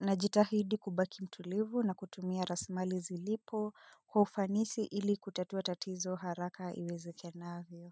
najitahidi kubaki mtulivu na kutumia rasilimali zilipo kwa ufanisi ili kutatua tatizo haraka iwezekanavyo.